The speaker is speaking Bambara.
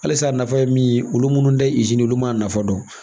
Halisa a nafa ye min ye olu munnu ta ye olu man nafa dɔn.